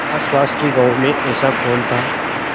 आसपास के गाँवों में ऐसा कौन था